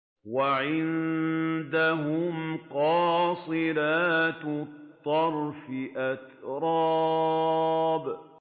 ۞ وَعِندَهُمْ قَاصِرَاتُ الطَّرْفِ أَتْرَابٌ